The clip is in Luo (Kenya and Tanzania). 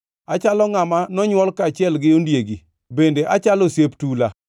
Achalo ngʼama nonywol kaachiel gi ondiegi, bende achalo osiep tula.